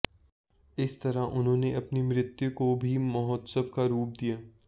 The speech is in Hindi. इस तरह उन्होंने अपनी मृत्यु को भी महोत्सव का रूप दिया